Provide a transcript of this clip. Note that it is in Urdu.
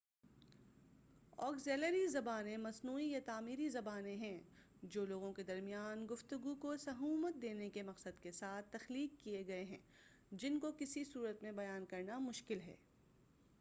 آگزیلیری زبانیں مصنوعی یا تعمیری زبانیں ہیں جو لوگوں کے درمیان گفتگو کو سہومت دینے کے مقصد کے ساتھ تخلیق کیے گئے ہیں جن کو کسی اور صورت میں بیان کرنا مشکل ہیں